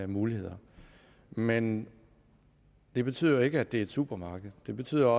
muligheder men det betyder ikke at det er et supermarked det betyder